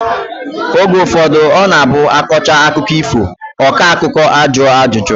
Oge ụfọdụ ọ na-abụ a kọchaa akụkọ ifo, ọkọakụ́kọ a jụọ ajụjụ